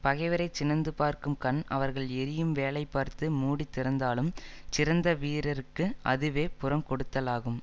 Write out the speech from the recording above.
பகைவரைச் சினந்து பார்க்கும் கண் அவர்கள் எறியும் வேலை பார்த்து மூடி திறந்தாலும் சிறந்த வீரர்க்கு அதுவே புறங் கொடுத்தலாகும்